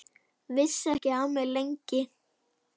Vissi ekki af mér, lengi.